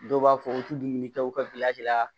Dɔw b'a fɔ u tɛ dumuni kɛ u ka bila de la